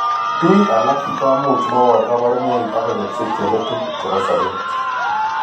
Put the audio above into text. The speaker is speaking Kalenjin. Biik alak komuch mobor kabarunoik agoi betusiek cheletu chebo sobet